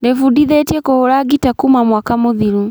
Ndĩbundithĩtie kũhũra ngita kuma mwaka mũthiru